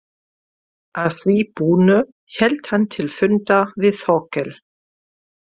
Að því búnu hélt hann til fundar við Þórkel.